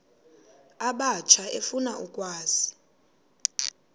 abatsha efuna ukwazi